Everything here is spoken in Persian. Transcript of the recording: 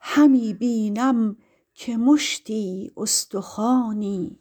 همی بینم که مشتی استخوانی